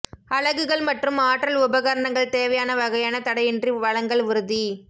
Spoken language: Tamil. அலகுகள் மற்றும் ஆற்றல் உபகரணங்கள் தேவையான வகையான தடையின்றி வழங்கல் உறுதி